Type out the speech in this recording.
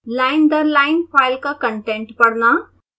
line दर line file का contents पढ़ना